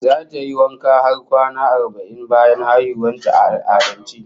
Zata yi wanka har kwana arba'in bayan haihuwar ta, a al'adance